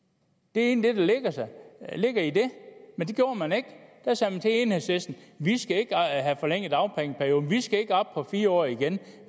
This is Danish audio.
det er egentlig det der ligger i det men det gjorde man ikke man sagde til enhedslisten dagpengeperioden den skal ikke op på fire år igen